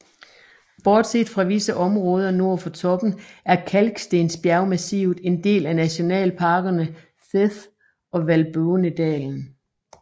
Bortset fra visse områder nord for toppen er kalkstensbjergmassivet en del af Nationalparkerne Theth og Valbonëdalen